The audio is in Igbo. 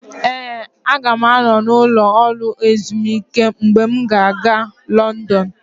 Ee, aga m anọ n'ụlọ ezumike mgbe m ga-aga Lọndọnụ.